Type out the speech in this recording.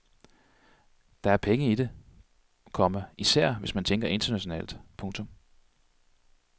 Der er penge i det, komma især hvis man tænker internationalt. punktum